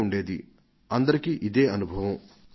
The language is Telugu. ఇది ప్రతి ఒక్కరికీ అనుభవంలోనిదే